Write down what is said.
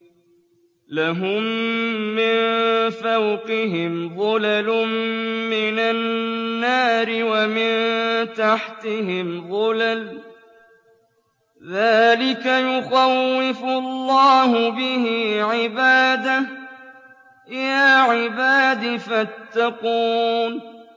لَهُم مِّن فَوْقِهِمْ ظُلَلٌ مِّنَ النَّارِ وَمِن تَحْتِهِمْ ظُلَلٌ ۚ ذَٰلِكَ يُخَوِّفُ اللَّهُ بِهِ عِبَادَهُ ۚ يَا عِبَادِ فَاتَّقُونِ